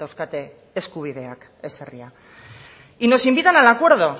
dauzkate eskubideak ez herria y nos invitan al acuerdo